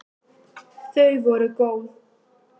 Þau voru góð!